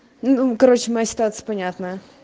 ну короче моя ситуация понятно